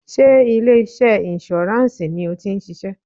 Sé ilé iṣẹ́ insurance ni o ti ń ṣiṣẹ́?